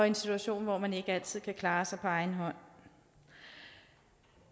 en situation hvor man ikke altid kan klare sig på egen hånd